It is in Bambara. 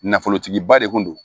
Nafolotigiba de kun do